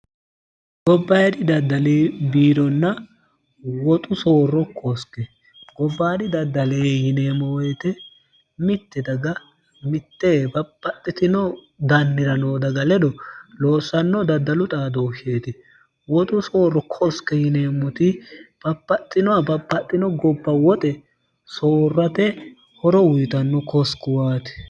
gobbayidhi daddale biironna woxu soorro koske gobbaadhi daddale yineemmowoyite mitti daga mitte baphaxxitino dannira noo daga ledo loossanno daddalu xaa doossheeti woxu soorro koske yineemmoti baphaxxinoha baphaxxino gobba woxe soorrate horo wuyitanno kosquwaati